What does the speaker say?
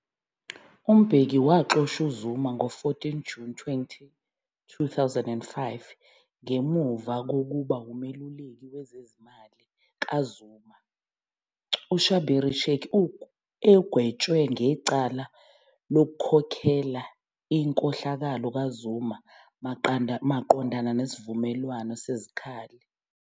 U-Mbeki waxosha u-Zuma ngo-14 June 2005 ngemuva kokuba umeluleki wezezimali kaZuma, UShabir Shaik, egwetshwe ngecala lokukhokhela inkhohlakalo ka-Zuma maqondana nesivumelwano sezikhali.